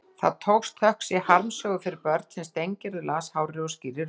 Það tókst, þökk sé harmsögu fyrir börn sem Steingerður las hárri og skýrri röddu.